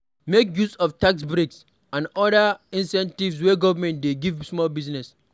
Make use of tax breaks and oda incentives wey government dey give small business